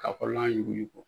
K'a kɔrɔla yuguyugu